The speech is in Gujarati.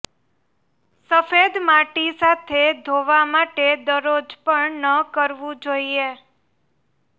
સફેદ માટી સાથે ધોવા માટે દરરોજ પણ ન કરવું જોઈએ